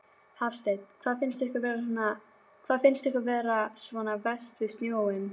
Hafsteinn: Hvað finnst ykkur vera svona verst við snjóinn?